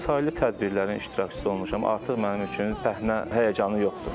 Çoxsaylı tədbirlərin iştirakçısı olmuşam, artıq mənim üçün bəhnə həyəcanı yoxdur.